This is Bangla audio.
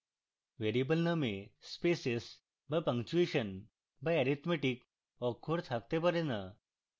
ভ্যারিয়েবল name spaces বা punctuation বা arithmetic অক্ষর থাকতে পারে না